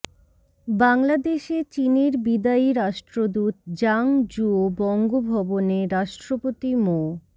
বাংলাদেশে চীনের বিদায়ী রাষ্ট্রদূত জাং জুও বঙ্গভবনে রাষ্ট্রপতি মো